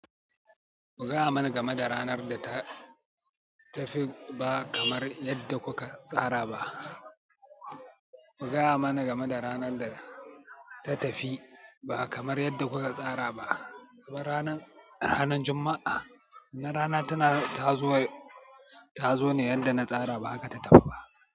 Ku gaya man game da ranar da ta tafi ba kamar yadda kuka tsara ba. Ku gaya mana game da ranar da ta tafi ba kamar yadda kuka tsara ba. Ranar ranar Juma'a na rana tana ta zo, ta zo ne yadda na tsara ba haka ta tafi ba.